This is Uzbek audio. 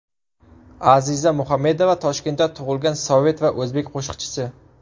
Aziza Muhamedova Toshkentda tug‘ilgan sovet va o‘zbek qo‘shiqchisi.